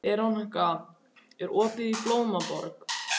Veronika, er opið í Blómaborg?